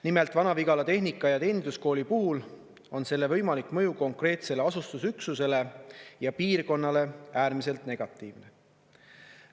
Nimelt, Vana-Vigala Tehnika- ja Teeninduskooli puhul on selle võimalik mõju konkreetsele asustusüksusele ja piirkonnale äärmiselt negatiivne.